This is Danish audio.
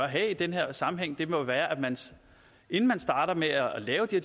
have i den her sammenhæng må være at man inden man starter med at lave de